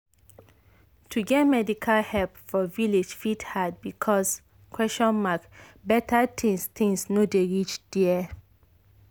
to get medical help for village fit hard because better things things no dey reach there.